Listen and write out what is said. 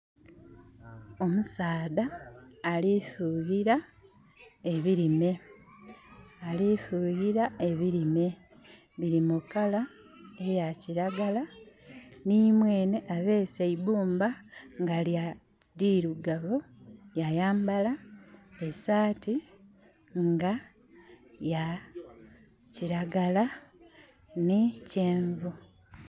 Omusadha alifuyila ebilime, biri mukala eyakilagala nimwenhe abese eibumba nga lirugavu yayambala esati nga yakilagala ni kyenvu.